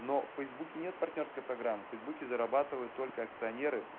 но в фейсбуке нет партнёрской программы в фейсбуке зарабатывают только акционеры